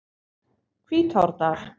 Hvítárdal